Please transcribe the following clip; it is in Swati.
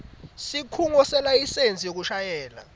sikhungo selayisensi yekushayela